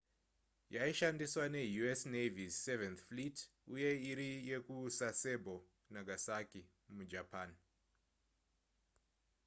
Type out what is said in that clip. yaishandiswa neu.s navy's seventh fleet uye iri yekusasebo nagasaki mujapan